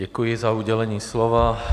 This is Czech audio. Děkuji za udělení slova.